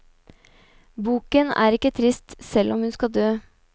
Boken er ikke trist, selv om hun skal død.